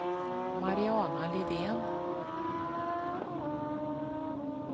Mariana Lidén